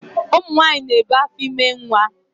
Ụmụnyanyị na-ebu afọime nwa